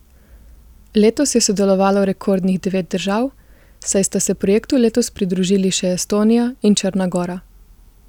Letos je sodelovalo rekordnih devet držav, saj sta se projektu letos pridružili še Estonija in Črna gora.